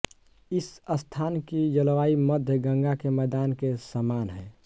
इस स्थान की जलवायु मध्य गंगा के मैदान के समान है